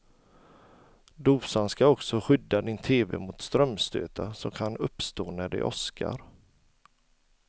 Dosan ska också skydda din tv mot strömstötar som kan uppstå när det åskar.